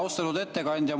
Austatud ettekandja!